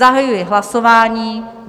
Zahajuji hlasování.